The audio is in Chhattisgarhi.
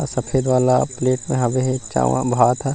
सफ़ेद वाला प्लेट हवे चावल भात है।